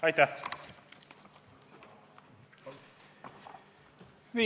Aitäh!